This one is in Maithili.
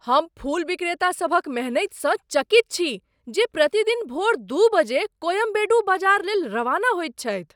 हम फूल विक्रेतासभक मेहनतिसँ चकित छी जे प्रतिदिन भोर दू बजे कोयम्बेडु बाजार लेल रवाना होइत छथि।